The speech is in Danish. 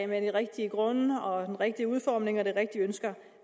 med de rigtige grunde og den rigtige udformning og de rigtige ønsker